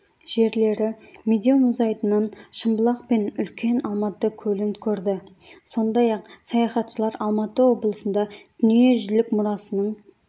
жерлері медеу мұзайдынын шымбұлақ мен үлкен алматы көлін көрді сондай-ақ саяхатшылар алматы облысында дүниежүзілік мұрасының